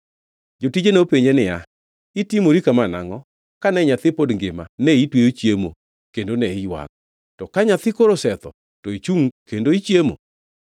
Jotije nopenje niya, “Itimori kama nangʼo? Kane nyathi pod ngima, ne itweyo chiemo kendo ne iywak. To ka nyathi koro osetho, to ichungʼ kendo ichiemo!”